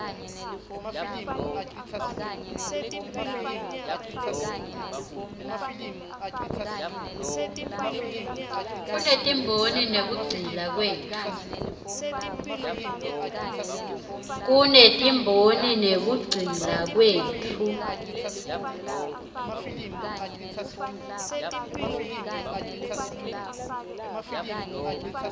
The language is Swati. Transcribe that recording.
kutetimboni nekugcila kwetfu